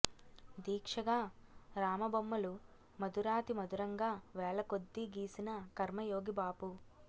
దీక్షగా రామ బొమ్మలు మధురాతిమధురంగా వేలకొద్దీ గీసిన కర్మయోగి బాపు